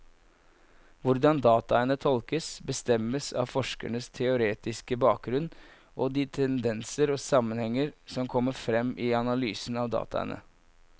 Hvordan dataene tolkes, bestemmes av forskerens teoretiske bakgrunnen og de tendenser og sammenhenger som kommer frem i analysen av dataene.